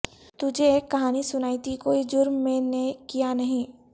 تجھے ایک کہانی سنائی تھی کوئی جرم میں نے کیا نہیں